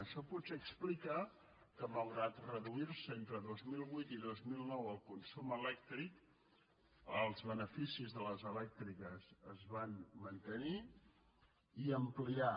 això potser explica que malgrat que es redueixi entre dos mil vuit i dos mil nou el consum elèctric els beneficis de les elèctriques es van mantenir i ampliar